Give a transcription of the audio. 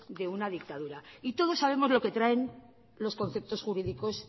de una dictadura todos sabemos lo que traen los conceptos jurídicos